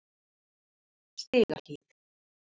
Stigahlíð